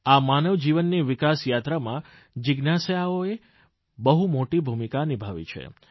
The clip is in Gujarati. અને માનવજીવનની વિકાસ યાત્રામાં જિજ્ઞાસાઓ બહુ મોટી ભૂમિકા નિભાવી છે